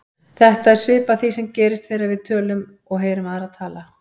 Þetta er svipað því sem gerist þegar við tölum og heyrum aðra tala.